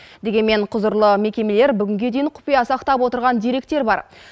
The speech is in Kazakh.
дегенмен құзырлы мекемелер бүгінге дейін құпия сақтап отырған деректер бар